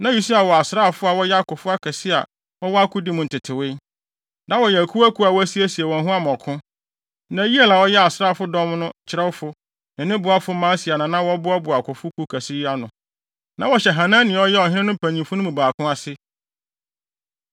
Na Usia wɔ asraafo a wɔyɛ akofo akɛse a wɔwɔ akodi mu ntetewee. Na wɔyɛ akuw akuw a wɔasiesie wɔn ho ama ɔko. Na Yeiel a ɔyɛ asraafodɔm no kyerɛwfo, ne ne boafo Maaseia na wɔboaboa akofo kuw kɛse yi ano. Na wɔhyɛ Hanania a ɔyɛ ɔhene no mpanyimfo no mu baako ase.